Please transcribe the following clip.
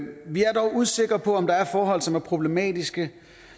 vi er dog usikre på om der er forhold som er problematiske